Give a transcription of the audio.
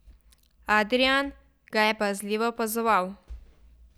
Adrijan ga je pazljivo opazoval.